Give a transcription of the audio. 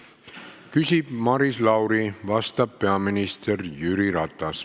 Küsib Maris Lauri, vastab peaminister Jüri Ratas.